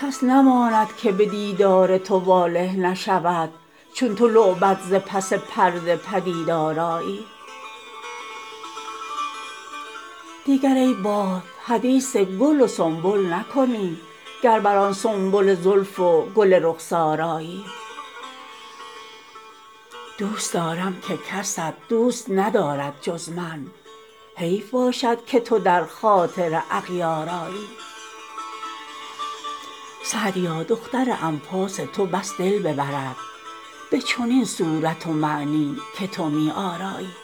کس نماند که به دیدار تو واله نشود چون تو لعبت ز پس پرده پدیدار آیی دیگر ای باد حدیث گل و سنبل نکنی گر بر آن سنبل زلف و گل رخسار آیی دوست دارم که کست دوست ندارد جز من حیف باشد که تو در خاطر اغیار آیی سعدیا دختر انفاس تو بس دل ببرد به چنین صورت و معنی که تو می آرایی